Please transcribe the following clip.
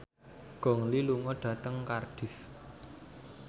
Gong Li lunga dhateng Cardiff